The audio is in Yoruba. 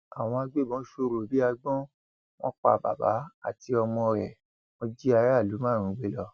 àwọn agbébọn sọrọ bíi agbọn wọn pa bàbá àti ọmọ rẹ wọn jí aráàlú márùnún gbé lọ